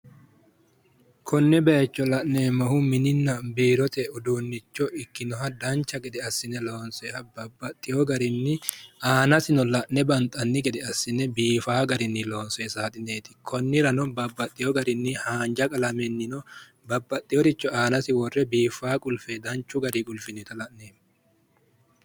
Konne bayicho la'neemmohu mininna biirote uduunnicho ikkinoha dancha gede biifinse loonsoonni saaxineeti. Tenne saaxineno haanja qalamenni buuree biifinse qulfe gannoonnita leellishshanno.